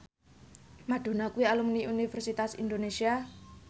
Madonna kuwi alumni Universitas Indonesia